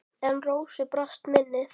En Rósu brast minnið.